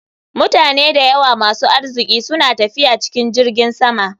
Mutane da yawa masu arziki suna tafiya cikin jiragen sama.